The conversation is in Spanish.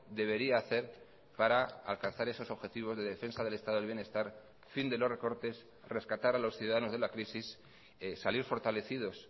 debería hacer para alcanzar esos objetivos de defensa del estado del bienestar fin de los recortes rescatar a los ciudadanos de la crisis salir fortalecidos